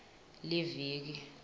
liviki